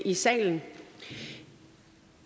i salen